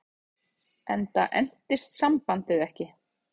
Ingimar, hvernig er veðrið á morgun?